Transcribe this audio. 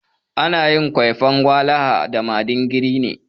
Ana yin kwaifan walaha da madingiri ne.